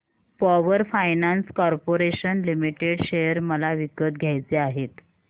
power Finance Corporation Limited share मला विकत घ्यायचे आहेत